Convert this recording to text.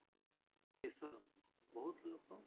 ଦେଶର ବହୁତ ଲୋକ